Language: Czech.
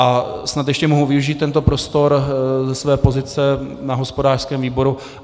A snad ještě mohu využít tento prostor ze své pozice na hospodářském výboru.